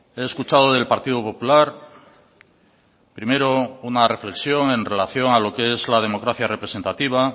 he escuchado del partido popular primero una reflexión en relación a lo que es la democracia representativa